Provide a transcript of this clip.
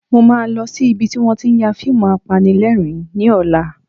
Mo máa lọ sí ibi tí wọ́n tí ń ya fíìmù apanilẹ́rìn-ín ní ọ̀la